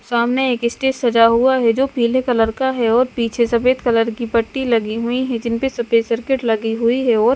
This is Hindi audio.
सामने एक स्टेज सजा हुआ है जो पीले कलर का है और पीछे सफेद कलर की पट्टी लगी हुई है जिनपे सफेद सर्किट लगी हुई है और--